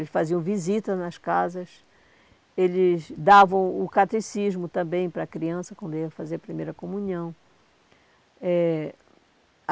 Eles faziam visitas nas casas, eles davam o catecismo também para a criança quando ia fazer a primeira comunhão. Eh